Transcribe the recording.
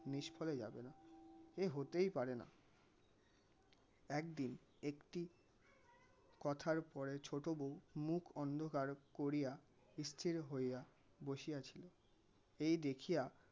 নিষ্ফলে যাবেনা. এ হতেই পারেনা একদিন একটি কথার পরে ছোটো বউ মুখ অন্ধকার করিয়া স্থির হইয়া বসিয়াছিল এই দেখিয়া